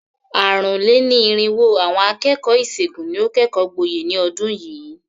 Àrùn-lé-ní-irínwó àwọn akẹ́kọ̀ọ́ ìṣègùn ni ó kẹ́kọ̀ọ́ gboyè ní ọdún yìí.